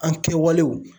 An kɛwalew